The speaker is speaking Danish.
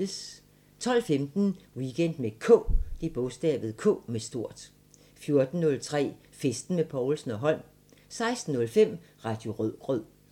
12:15: Weekend med K 14:03: Festen med Povlsen & Holm 16:05: Radio Rødgrød